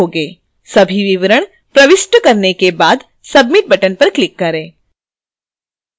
सभी विवरण प्रविष्ट करने के बाद submit button पर click करें